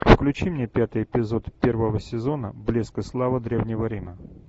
включи мне пятый эпизод первого сезона блеск и слава древнего рима